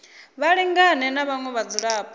vha lingane na vhaṅwe vhadzulapo